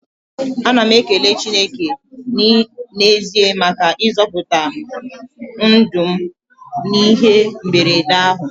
Ana m ekele Chineke n'ezie maka ịzọpụta ndụ m n'ihe mberede ahụ.